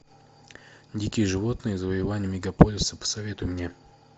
дикие животные завоевание мегаполиса посоветуй мне